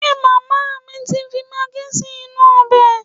Ṣe màmá mi ti fi magí sí inú ọbẹ̀?